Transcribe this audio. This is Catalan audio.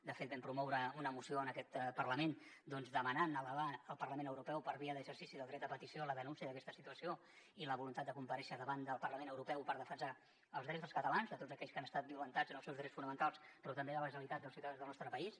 de fet vam promoure una moció en aquest parlament demanant elevar al parlament europeu per via d’exercici del dret a petició la denúncia d’aquesta situació i la voluntat de comparèixer davant del parlament europeu per defensar els drets dels catalans de tots aquells que han estat violentats en els seus drets fonamentals però també de la generalitat i dels ciutadans del nostre país